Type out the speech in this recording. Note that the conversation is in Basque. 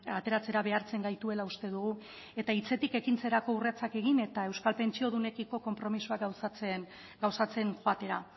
ateratzera behartzen gaituela uste dugu eta hitzetik ekintzetarako urratsak egin eta euskal pentsiodunekiko konpromisoa gauzatzen joatera